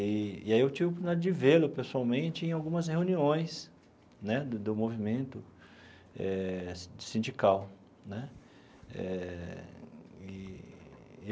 E e aí eu tive o privilégio de vê-lo pessoalmente em algumas reuniões né do do movimento eh sindical né eh eee.